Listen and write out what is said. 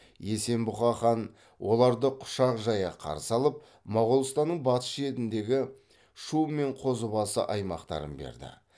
есенбұға хан оларды құшақ жая қарсы алып моғолстанның батыс шетіндегі шу мен қозыбасы аймақтарын берді